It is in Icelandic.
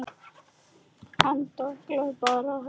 Hann dólar bara um helgar.